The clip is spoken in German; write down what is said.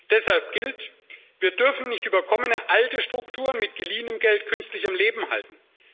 Deshalb gilt Wir dürfen nicht überkommene alte Strukturen mit geliehenem Geld künstlich am Leben erhalten.